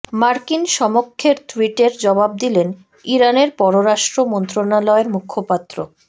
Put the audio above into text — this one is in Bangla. মার্কিন সমকক্ষের টুইটের জবাব দিলেন ইরানের পররাষ্ট্র মন্ত্রণালয়ের মুখপাত্র